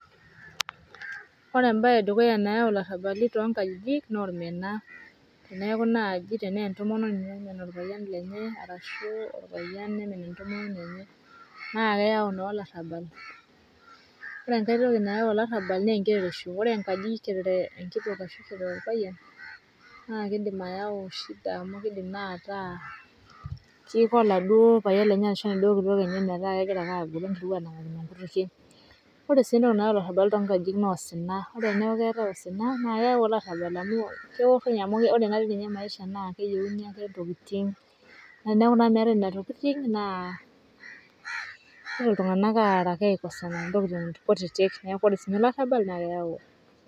ore embae edukuya nayau ilarambali tonkajiji na olmena ,teniaku naji tena entomononi namen olpayian lenye, arashu olpayian omen entomononi enye ,na keyau na olarambal ore enkae toki nayau olarambal na enkerereisho, ore enkaji kerere enkitok ashu kerere olpayian na kindim ayau shida amu kindim na ata kiko oladuo payian lenye ashu enaduo kitok enye meeta kengirae ake agoro anangakino nkutukie, ore si entoki nayau ilarambali na osina, ore niaku ketae osina ore teniaku ketae osina ,na keyau olarambal amu ore na maisha na keyieuni ake ntokitin, na eniaku na metae inokitin na kiara iltungana aikosana to ntokitin kutiti niaku ore sininye olarambal na keyau....